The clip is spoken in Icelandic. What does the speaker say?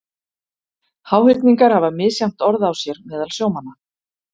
Háhyrningar hafa misjafnt orð á sér meðal sjómanna.